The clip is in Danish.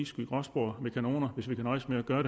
skyde gråspurve med kanoner hvis vi kan nøjes med at gøre